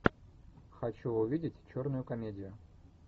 хочу увидеть черную комедию